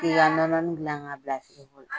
F'i ka nɔnɔni gilan ka bila firigo la.